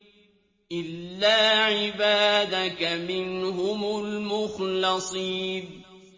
إِلَّا عِبَادَكَ مِنْهُمُ الْمُخْلَصِينَ